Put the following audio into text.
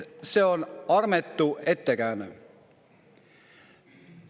See on armetu ettekääne.